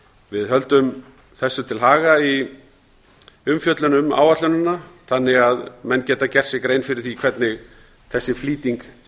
við höldum þessu til haga í umfjöllun um áætlunina þannig að menn geta gert sér grein fyrir því hvernig þessi flýting